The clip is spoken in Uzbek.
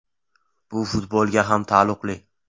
Bu futbolga ham taalluqli.